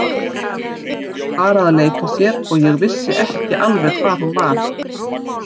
Var bara að leika sér og ég vissi ekki alveg hvar hún var.